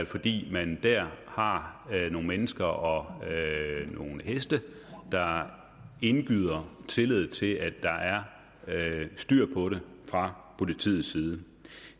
fordi man der har nogle mennesker og nogle heste der indgyder tillid til at der er styr på det fra politiets side